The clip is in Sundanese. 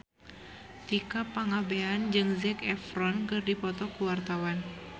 Tika Pangabean jeung Zac Efron keur dipoto ku wartawan